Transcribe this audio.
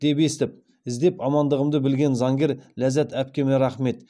деп естіп іздеп амандығымды білген заңгер ләззәт апкеме рахмет